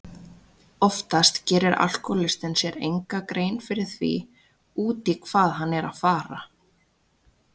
Oftast gerir alkohólistinn sér enga grein fyrir því út í hvað hann er að fara.